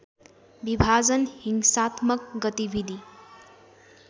विभाजन हिंसात्मक गतिविधि